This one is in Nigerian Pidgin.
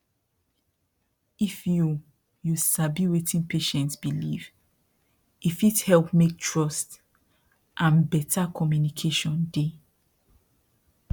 if you you sabi wetin patient believe e fit help make trust and better communication dey